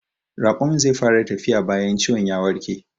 Raƙumin zai fara tafiya bayan ciwon ya warke